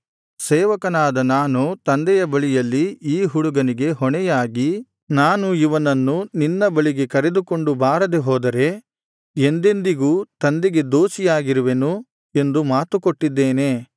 ಸೇವಕನಾದ ನಾನು ತಂದೆಯ ಬಳಿಯಲ್ಲಿ ಈ ಹುಡುಗನಿಗೆ ಹೊಣೆಯಾಗಿ ನಾನು ಇವನನ್ನು ನಿನ್ನ ಬಳಿಗೆ ಕರೆದುಕೊಂಡು ಬಾರದೆ ಹೋದರೆ ಎಂದೆಂದಿಗೂ ತಂದೆಗೆ ದೋಷಿಯಾಗಿರುವೆನು ಎಂದು ಮಾತು ಕೊಟ್ಟಿದ್ದೇನೆ